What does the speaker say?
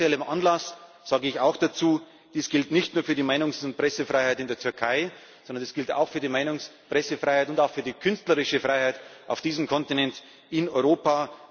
Und aus aktuellem Anlass sage ich auch dazu Dies gilt nicht nur für die Meinungs und Pressefreiheit in der Türkei, sondern das gilt auch für die Meinungs Pressefreiheit und auch für die künstlerische Freiheit auf diesem Kontinent, in Europa.